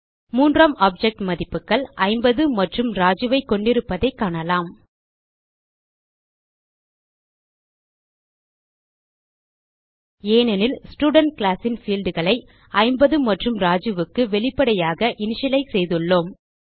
மூன்றாம் ஆப்ஜெக்ட் மதிப்புகள் 50 மற்றும் ராஜு ஐ கொண்டிருப்பதைக் காணலாம் ஏனெனில் ஸ்டூடென்ட் கிளாஸ் ன் பீல்ட் களை 50 மற்றும் Rajuக்கு வெளிப்படையாக இனிஷியலைஸ் செய்துள்ளோம்